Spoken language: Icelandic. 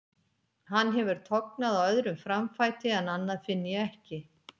Hann hefur tognað á öðrum framfæti en annað finn ég ekki.